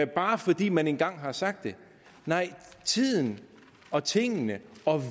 bare fordi man en gang har sagt det nej tiden og tingene og